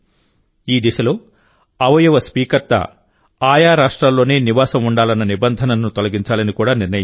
ఈ దిశలో అవయవ స్వీకర్త ఆయా రాష్ట్రాలలోనే నివాసం ఉండాలన్న నిబంధనను తొలగించాలని కూడా నిర్ణయించారు